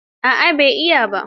A'a ba zan iya ba.